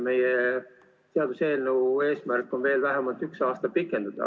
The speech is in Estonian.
Meie seaduseelnõu eesmärk on seda veel vähemalt üks aasta pikendada.